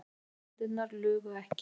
Ljósmyndirnar lugu ekki.